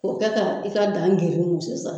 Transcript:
O kɛ ka i ka daa sisan.